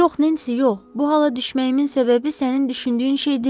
Yox, Nensi, yox, bu hala düşməyimin səbəbi sənin düşündüyün şey deyil.